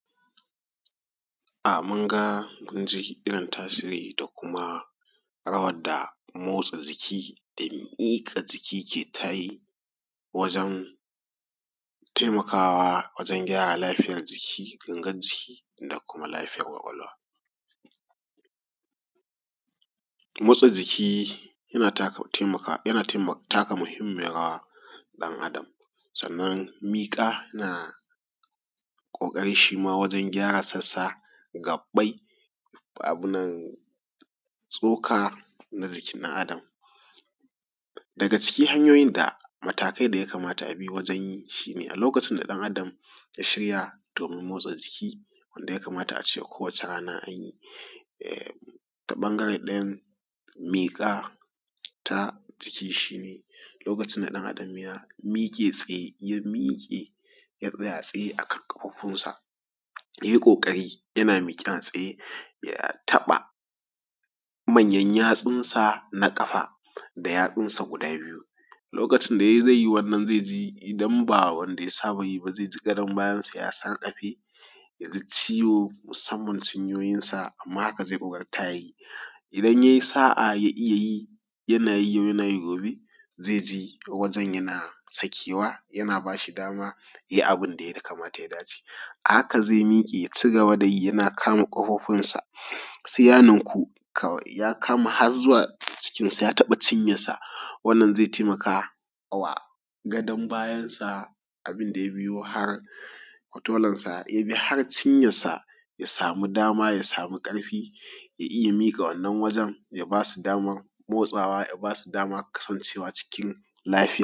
um mun ga mun ji irin tasiri da kuma rawar da motsa jiki da miƙa jiki ke tayi wajen taimakawa wajen gyara lafiyar jiki, gangar jiki da kuma lafiyar ƙwaƙwalwa. Motsa jiki yana taka mahimmiyar rawa a ɗan Adam. Mika na ƙoƙari shima wajen gyara sassa gaɓɓai ko abunnan tsoka na jikin ɗan Adam. Daga cikin hanyoyin da matakai da ya kamata a bi wajen yi shine a lokacin da ɗan Adam ya shirya don motsa jiki wanda ya kamata ace kowacce rana an yi, ta ɓangaren ɗayan miƙa ta jikinshi, lokacin da ɗan Adam ya miƙe tsaye ya miƙe ya tsaya a tsaye a kan ƙafafunsa ya yi ƙoƙari yana miƙe a tsaye ya taɓa manyan yatsunsa na ƙafa da yatsunsa guda biyu. Lokacin da ya yi zai yi wannan zai ji idan ba wanda ya saba yi ba zai ji gadon bayansa ya sarƙafe ya ji ciwo musamman ciyoyinsa, amma haka zai ƙoƙarta ya yin. Idan ya yi sa'a ya iya yi, yana yi yana yi gobe zai ji wajen yana sakewa yana ba shi dama ya yi abun ya kamata da ya dace. A haka zai miƙe ya ci gaba da yi yana kama ƙafafunsa sai ya ninku kawai ya kama har zuwa cikinsa ya taɓa cinyarsa, wannan zai taimaka wa gadon bayansa abun da ya biyo har kotolansa ya bi har ciyarsa ya samu dama ya sama ƙarfi ya iya miƙa wannan wajen ya ba su damar motsawa ya ba su damar kasancewa cikin lafiya.